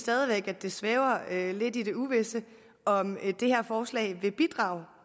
at det stadig svæver lidt i det uvisse om det her forslag vil bidrage